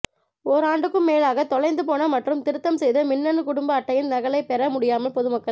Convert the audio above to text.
ஓராண்டுக்கும் மேலாக தொலைந்து போன மற்றும் திருத்தம் செய்த மின்னணு குடும்ப அட்டையின் நகலைப் பெற முடியாமல் பொதுமக்கள்